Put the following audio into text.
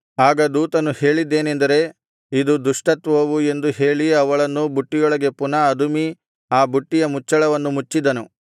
ಆಗ ದೂತನು ಹೇಳಿದ್ದೇನೆಂದರೆ ಇದು ದುಷ್ಟತ್ವವು ಎಂದು ಹೇಳಿ ಅವಳನ್ನು ಬುಟ್ಟಿಯೊಳಗೆ ಪುನಃ ಅದುಮಿ ಆ ಬುಟ್ಟಿಯ ಮುಚ್ಚಳವನ್ನು ಮುಚ್ಚಿದನು